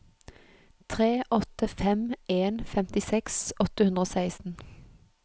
tre åtte fem en femtiseks åtte hundre og seksten